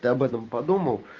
ты об этом подумал